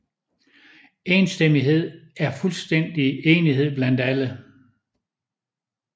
Enstemmighed er fuldstændig enighed blandt alle